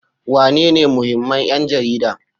Wanene muhimman 'yan jarida?